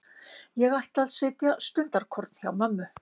Ég ætla að sitja stundarkorn hjá mömmu.